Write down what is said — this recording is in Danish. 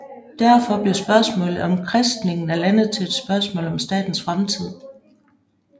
Derfor blev spørgsmålet om kristningen af landet til et spørgsmål om statens fremtid